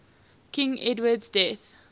king edward's death